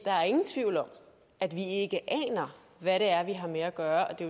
er ingen tvivl om at vi ikke aner hvad det er vi har med at gøre og det